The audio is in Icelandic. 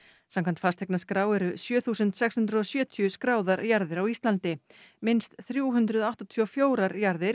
samkvæmt fasteignaskrá eru sjö þúsund sex hundruð og sjötíu skráðar jarðir á Íslandi minnst þrjú hundruð áttatíu og fjórar jarðir